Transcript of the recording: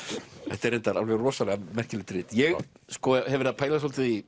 þetta er reyndar alveg rosalega merkilegt rit ég hef verið að pæla svolítið í